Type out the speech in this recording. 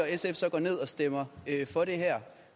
at sf så går ned og stemmer for det her